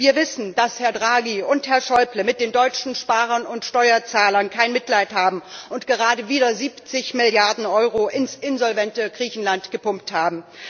Wir wissen, dass Herr Draghi und Herr Schäuble mit den deutschen Sparern und Steuerzahlern kein Mitleid haben und gerade wieder 70 Milliarden Euro ins insolvente Griechenland gepumpt haben.